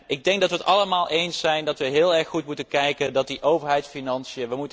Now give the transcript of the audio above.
Ik denk dat wij het allemaal erover eens zijn dat wij heel erg goed moeten kijken naar die overheidsfinanciën.